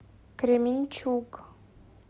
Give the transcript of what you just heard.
кременчуг